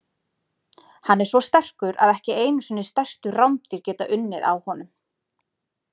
Hann er svo sterkur að ekki einu sinni stærstu rándýr geta unnið á honum.